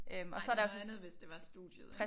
Nej det er noget andet hvis det var studiet